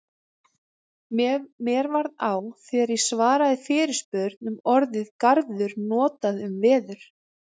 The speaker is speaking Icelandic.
mér varð á þegar ég svaraði fyrirspurn um orðið garður notað um veður